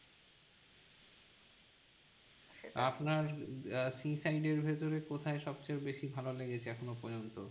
আপনার sea side এর ভেতরে কোথায় সব চেয়ে বেশি ভালো লেগেছে এখনো পর্যন্ত?